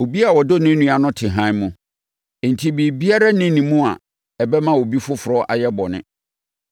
Obiara a ɔdɔ ne nua no te hann mu, enti biribiara nni ne mu a ɛbɛma obi foforɔ ayɛ bɔne.